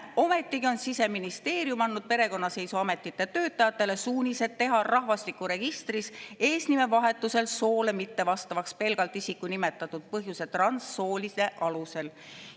Ometigi on Siseministeerium andnud perekonnaseisuametite töötajatele suunised teha rahvastikuregistris eesnimevahetusel soole mittevastavaks pelgalt isiku nimetatud põhjuse, transsoolisuse alusel.